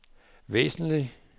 væsentlig